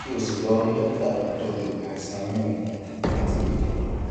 kí o sì lọ rí dókítà tó ń tọjú àìsàn inú ikùn àti ìfun